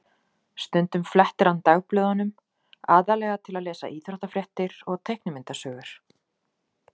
Stundum flettir hann dagblöðunum, aðallega til að lesa íþróttafréttir og teiknimyndasögur.